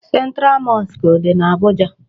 Central mosque dị na Abuja.